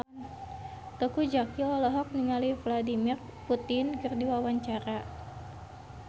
Teuku Zacky olohok ningali Vladimir Putin keur diwawancara